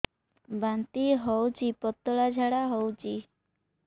ବାନ୍ତି ହଉଚି ପତଳା ଝାଡା ହଉଚି